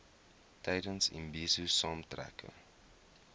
tydens imbizo saamtrekke